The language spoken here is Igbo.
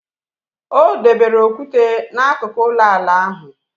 O debere okwute n' akụkụ ụlọala ahụ.